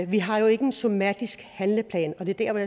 vi har jo ikke en somatisk handleplan og det er der